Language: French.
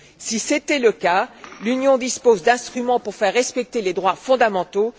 Si c'était le cas, l'Union dispose d'instruments pour faire respecter les droits fondamentaux.